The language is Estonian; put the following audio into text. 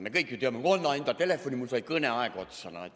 Me kõik ju teame seda: "Anna enda telefoni, mul sai kõneaeg otsa.